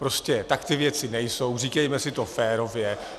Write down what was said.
Prostě tak ty věci nejsou, říkejme si to férově.